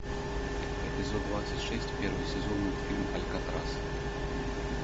эпизод двадцать шесть первый сезон мультфильм алькатрас